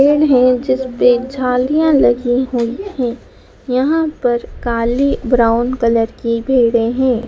हैं जिसपे झालियां लगी हुईं हैं यहां पर काली ब्राउन कलर की भेडे हैं।